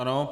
Ano.